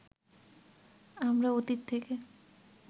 আমরা অতীত থেকে